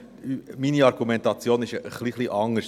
Meine Argumentation ist ein wenig anders.